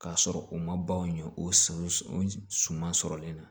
K'a sɔrɔ u ma ban o ɲɛ o s o sɔ suman sɔrɔlen na